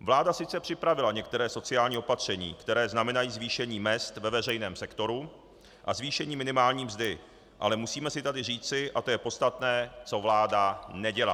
Vláda sice připravila některá sociální opatření, která znamenají zvýšení mezd ve veřejném sektoru a zvýšení minimální mzdy, ale musíme si tady říci, a to je podstatné, co vláda nedělá.